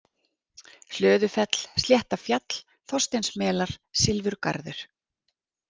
Hlöðufell, Sléttafjall, Þorsteinsmelar, Silfurgarður